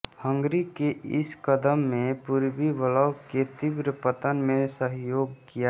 Hungary के इस कदम ने पूर्वी ब्लॉक के तीव्र पतन में सहयोग किया